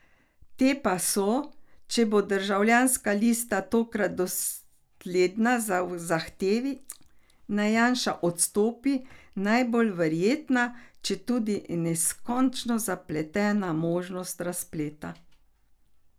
Te pa so, če bo Državljanska lista tokrat dosledna v zahtevi, naj Janša odstopi, najbolj verjetna, četudi neskončno zapletena možnost razpleta.